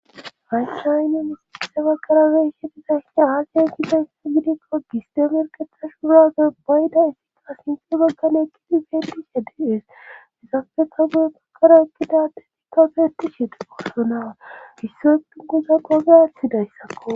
haychaaynne misiise baqarare ihediza hia haaki ehide u gidikko gisdemerketashuuuraze bayda efika sinti baggan ekkidi feetishe diees isafeka guye baggara ekkida detikafe heti sheede qorsonaa isse etungoza qogirathidayssakko